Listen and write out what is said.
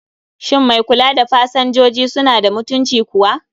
Shin mai kula da pasanjoji suna da mutunci kuwa?